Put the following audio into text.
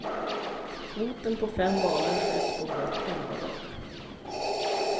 Kvoten på fem valar sköts på blott elva dagar.